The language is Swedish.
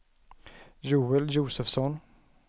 Joel Josefsson